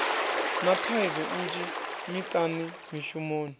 na thaidzo nnzhi miṱani mishumoni